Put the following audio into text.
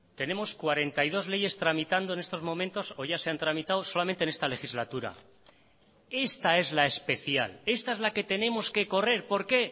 tenemos cuarenta y dos leyes tramitando en estos momentos o ya se han tramitado solamente en esta legislatura esta es la especial esta es la que tenemos que correr porque